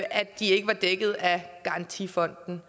at de ikke var dækket af garantifonden